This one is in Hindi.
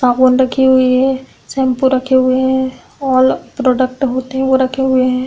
साबुन रखे हुए है। शैम्पू रखे हुए हैं। आल प्रोडक्ट होते हैं वो रखे हुए हैं।